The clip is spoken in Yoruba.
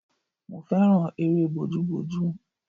Mo fẹ́ràn eré bojúbojú